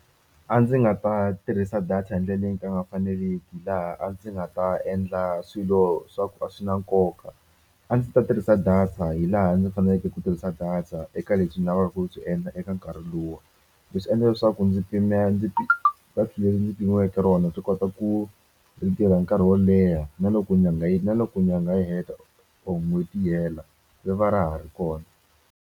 A ndzi nga ta tirhisa data hi leyi ka nga faneliki laha a ndzi nga ta endla swilo swa ku a swi na nkoka a ndzi ta tirhisa data hi laha ndzi faneleke ku tirhisa data eka lebyi ni lavaka ku byi endla eka nkarhi luwa leswi endla leswaku ndzi pimela ndzi data leri ndzi pimiweke rona byi kota ku ri tirha nkarhi wo leha na loko nyanga yi na loko nyanga yi heta or n'hweti yi hela ri va ra ha ri kona.